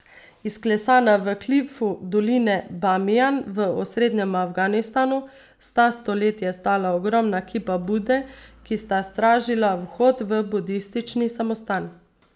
Izklesana v klifu doline Bamijan v osrednjem Afganistanu sta stoletja stala ogromna kipa Bude, ki sta stražila vhod v budistični samostan.